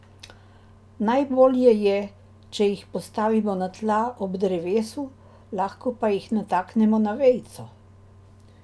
Najbolje je, če jih postavimo na tla ob drevesu, lahko pa jih nataknemo na vejico.